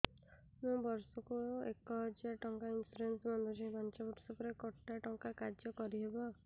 ମୁ ବର୍ଷ କୁ ଏକ ହଜାରେ ଟଙ୍କା ଇନ୍ସୁରେନ୍ସ ବାନ୍ଧୁଛି ପାଞ୍ଚ ବର୍ଷ ପରେ କଟା ଟଙ୍କା କାର୍ଯ୍ୟ କାରି ହେବ